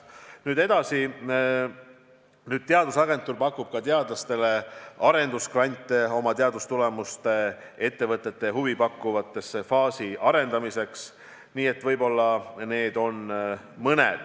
Nüüd edasi, teadusagentuur pakub ka teadlastele arendusgrante oma teadustulemuste ettevõtetele huvipakkuvate faaside arendamiseks.